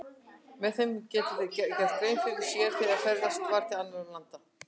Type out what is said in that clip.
Með þeim gátu þeir gert grein fyrir sér þegar ferðast var til annarra landa.